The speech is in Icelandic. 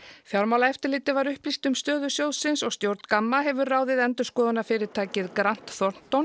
fjármálaeftirlitið var upplýst um stöðu sjóðsins og stjórn Gamma hefur ráðið endurskoðunarfyrirtækið grant